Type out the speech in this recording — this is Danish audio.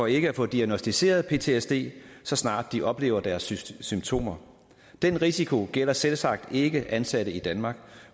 ikke at få diagnosticeret ptsd så snart de oplever deres symptomer den risiko gælder selvsagt ikke ansatte i danmark